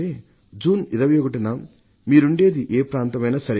June 21న మీరుండేది ఏ ప్రాంతమైనా సరే